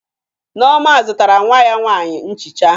Nneoma zụtara nwa ya nwaanyị nchiche